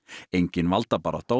engin valdabarátta og